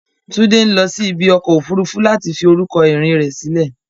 Tunde ń lọ sí ibi ọkọ̀ òfuurufú láti fi orúkọ ìrìn rẹ̀ sílẹ̀.